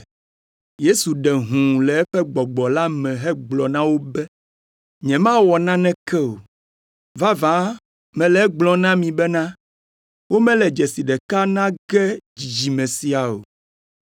Yesu ɖe hũu le eƒe gbɔgbɔ la me hegblɔ na wo be, “Nyemawɔ naneke o. Vavã mele egblɔm na mi bena womele dzesi ɖeka na ge dzidzime sia o.”